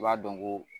I b'a dɔn ko